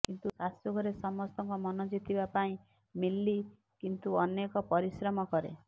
କିନ୍ତୁ ଶାଶୂଘରେ ସମସ୍ତଙ୍କ ମନ ଜିତିବା ପାଇଁ ମିଲ୍ଲୀ କିନ୍ତୁ ଅନେକ ପରିଶ୍ରମ କରେ